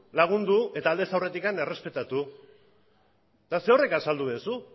egin behar da eta aldez aurretik errespetatu zuk zerorrek azaldu duzu